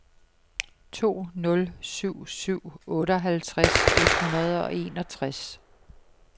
to nul syv syv otteoghalvtreds et hundrede og enogtres